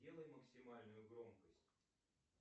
сделай максимальную громкость